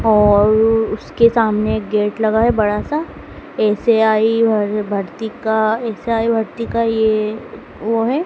और उसके सामने एक गेट लगा है बड़ा सा एस_ए_आई भर्ती का एस_ए_आई भर्ती का ये वो है।